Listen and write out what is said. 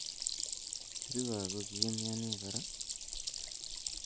Kirue ako ki imiani kora